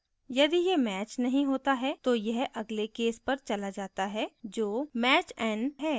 यदि यह match नहीं होता है तो यह अगले case पर चला जाता है जो match _ n है